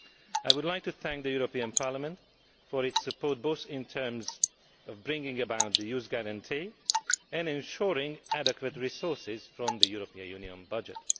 I would like to thank the European Parliament for its support both in terms of bringing about the Youth Guarantee and of ensuring adequate resources from the European Union budget.